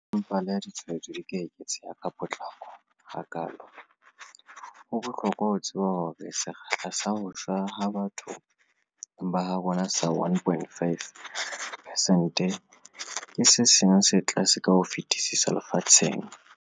Empa leha ditshwaetso di eketseha ka potlako hakaalo, ho bohlokwa ho tseba hore sekgahla sa ho shwa ha batho ba habo rona sa 1.5 pesente ke se seng sa tse tlase ka ho fetisisa lefatsheng.